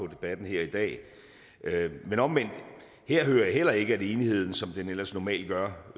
debatten her i dag men omvendt hører jeg heller ikke at enigheden som den ellers normalt gør